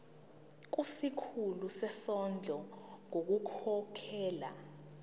kusikhulu sezondlo ngokukhokhela